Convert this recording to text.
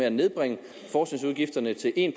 at nedbringe forskningsudgifterne til en